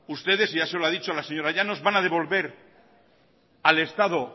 ustedes ya se lo ha dicho la señora llanos van a devolver al estado